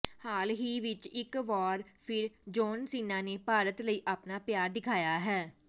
ਹਾਲ ਹੀ ਵਿੱਚ ਇੱਕ ਵਾਰ ਫਿਰ ਜੌਨ ਸੀਨਾ ਨੇ ਭਾਰਤ ਲਈ ਆਪਣਾ ਪਿਆਰ ਦਿਖਾਇਆ ਹੈ